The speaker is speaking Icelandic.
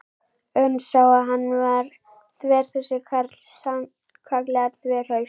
Örn sá að hann var þver þessi karl, sannkallaður þverhaus.